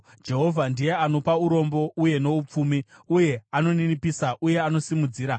Jehovha ndiye anopa urombo uye noupfumi; uye anoninipisa uye anosimudzira.